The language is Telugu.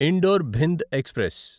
indoor Bhind express